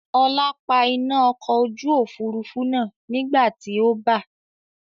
Ọlá pa iná ọkọ̀ ojú Òfurufú náà nígbàti ó bà.